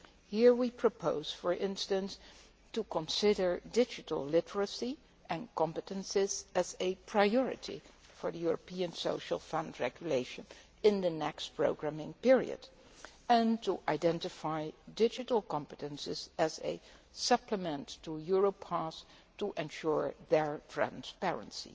Here we propose, for instance, to consider digital literacy and competences as a priority for the European Social Fund regulation in the next programming period and to identify digital competences as a supplement to Europass to ensure their transparency.